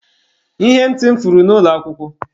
Ihe ntị m furu na ụlọ akwụkwọ.